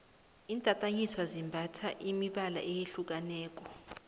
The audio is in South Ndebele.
intatanyiswa zembatha imibala eyehlukaneko